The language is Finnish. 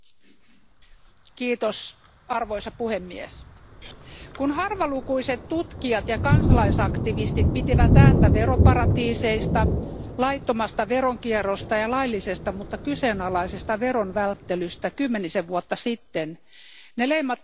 Arvoisa puhemies, kun harvalukuiset tutkijat ja kansalaisaktivistit pitivät ääntä veroparatiiseista, laittomasta veronkierrosta ja laillisesta mutta kyseenalaisesta veronvälttelystä kymmenisen vuotta sitten, se leimattiin suoraan haihatteluksi.